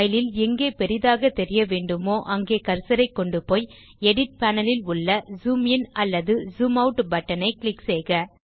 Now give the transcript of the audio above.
file ல் எங்கே பெரிதாகத் தெரிய வேண்டுமோ அங்கே கர்சரைக் கொண்டு போய் எடிட் பேனல் இல் உள்ள ஜூம் இன் அல்லது ஜூம் ஆட் பட்டன் ஐ க்ளிக் செய்க